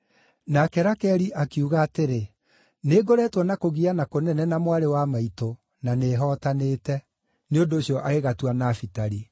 Nake Rakeli akiuga atĩrĩ, “Nĩ ngoretwo na kũgiana kũnene na mwarĩ wa maitũ, na nĩ hootanĩte.” Nĩ ũndũ ũcio agĩgatua Nafitali.